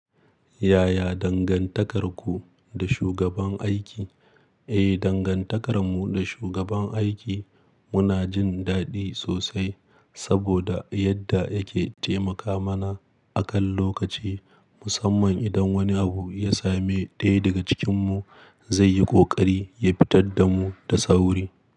Yaya dangantakarku da shugaban aiki? Eh, dangantakarmu da shugaban aiki muna jin daɗi sosai saboda yadda yake taimaka mana akan lokaci. Musamman idan wani abu ya same ɗaya daga cikinmu, zai yi ƙoƙari ya fitar da mu da sauri.